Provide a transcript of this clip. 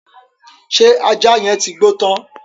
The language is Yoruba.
Ṣé ajá yẹn ti gbó tán?